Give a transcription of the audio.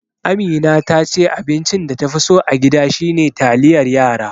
Amina tace abincin da ta fi so a gida shine taliyar yara.